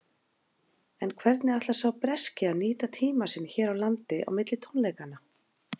En hvernig ætlar sá breski að nýta tímann sinn hér á landi á milli tónleikanna?